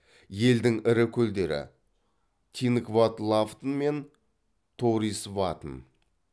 елдің ірі көлдері тингвадлаватн мен тоурисватн